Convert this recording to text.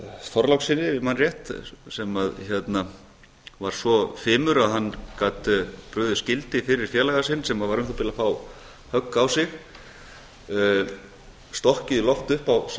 þorlákssyni ef ég man rétt sem var svo fimur að hann gat brugðið skildi fyrir félaga sinn sem var um það bil að fá högg á sig stokkið í loft upp á sama tíma og virðulegur forseti ég